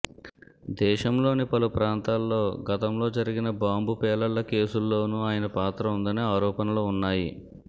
దేశంలోని పలు ప్రాంతాలలో గతంలో జరిగిన బాంబు పేలుళ్ల కేసుల్లోనూ ఆయన పాత్ర ఉందని ఆరోపణలు ఉన్నాయి